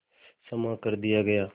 क्षमा कर दिया गया